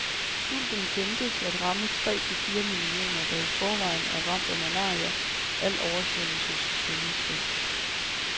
Sulten ventes at ramme tre til fire millioner, der i forvejen er ramt af malaria, al oversvømmelses følgesvend.